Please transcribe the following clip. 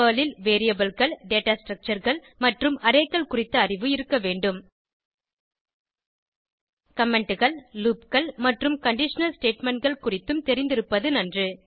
Perl ல் Variableகள் data Structureகள் மற்றும் Arrayகள் குறித்த அறிவு இருக்க வேண்டும் Commentகள் loopகள் மற்றும் கண்டிஷனல் statementகள் குறித்தும் தெரிந்திருப்பது நன்று